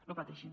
no pateixin